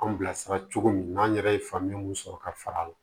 Anw bilasira cogo min n'an yɛrɛ ye faamuya mun sɔrɔ ka far'a